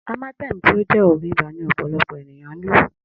Amatem ti o jẹ òògùn ibà ni ọ̀pọ̀lọpọ̀ ènìyàn ńlò